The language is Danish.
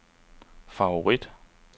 favorit